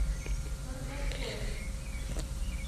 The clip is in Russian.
каргополем